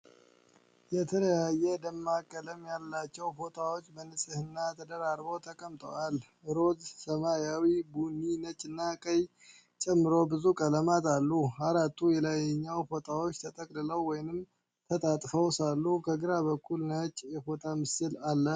የተለያየ ደማቅ ቀለም ያላቸው ፎጣዎች በንጽህና ተደራርበው ተቀምጠዋል። ሮዝ፣ ሰማያዊ፣ ቡኒ፣ ነጭ እና ቀይ ጨምሮ ብዙ ቀለማት አሉ። አራቱ የላይኛው ፎጣዎች ተጠቅልለው ወይም ተጠፍጥፈው ሳሉ፣ ከግራ በኩል ነጭ የፎቶ ፍሬም አለ።